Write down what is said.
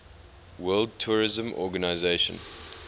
world tourism organization